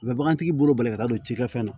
U bɛ bagantigi bolo bali ka taa don cikɛfɛn na